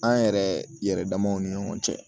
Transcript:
An yɛrɛ yɛrɛ damaw ni ɲɔgɔn cɛ